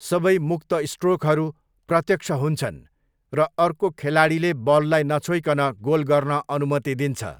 सबै मुक्त स्ट्रोकहरू 'प्रत्यक्ष' हुन्छन् र अर्को खेलाडीले बललाई नछोइकन गोल गर्न अनुमति दिन्छ।